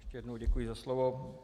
Ještě jednou děkuji za slovo.